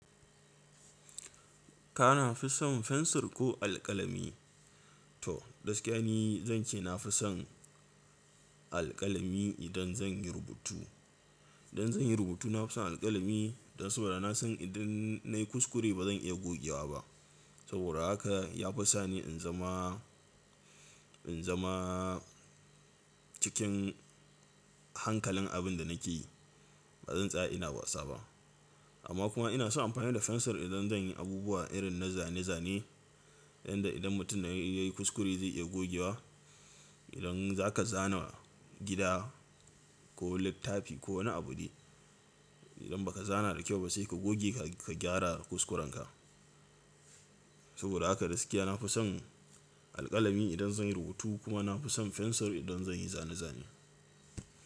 Kana fi son fensir ko alƙalami? To, gaskiya ne zan ce na fi son alƙalami idan zan yi rubutu. Idan zan yi rubutu na fi son alƙalami, dan saboda na san idan nayi kuskure ba zan iya gogewa ba. Saboda haka ya fi sani in zama, in zama cikin hankalin abin da nake yi. Ba zan tsaya ina wasa ba. Amma kuma ina son amfani da fensir idan zan yi abubuwa irin na zane-zane, inda idan mutum na yayi kuskure zai iya gogewa. Idan za ka zana gida ko littafi ko wani abu dai, idan ba ka zana da kyau ba sai ka goge ka gyara kuskurenka. Saboda haka gaskiya na fi son alƙalami idan zan yi rubutu kuma na fi son fensir idan zan yi zane-zane.